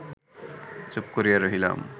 চুপ করিয়া রহিলাম